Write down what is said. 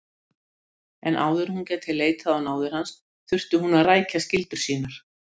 En áður en hún gæti leitað á náðir hans þurfti hún að rækja skyldur sínar.